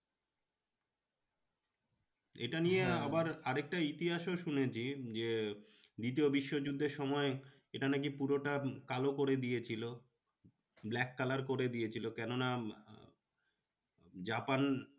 এটা নিয়ে আর একটা ইতিহাসও শুনেছি যে দ্বিতীয় বিশ্ব যুদ্ধের সময় এটা নাকি পুরোটা কালো করে দিয়েছিলো। black color করে দিয়েছিলো কেন না জাপান